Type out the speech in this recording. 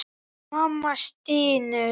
Mamma stynur.